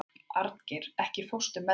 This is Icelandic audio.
Arngeir, ekki fórstu með þeim?